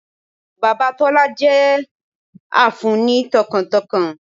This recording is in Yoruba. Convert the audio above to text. Bàbá Tólá jẹ́ a fun ni tọkàntọkàn